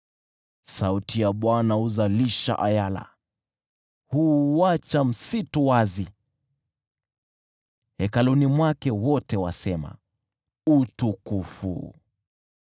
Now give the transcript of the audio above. Sauti ya Bwana huzalisha ayala, na huuacha msitu wazi. Hekaluni mwake wote wasema, “Utukufu!”